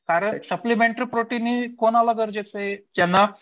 कारण supplementary protein हे कोणाला गरजेचं आहे ज्यांना